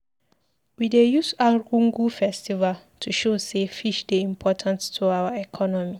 We dey use Argungu festival to show sey fish dey important to our economy.